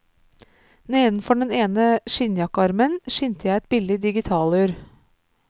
Nedenfor den ene skinnjakkearmen skimter jeg et billig digitalur.